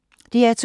DR2